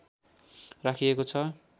राखिएको छ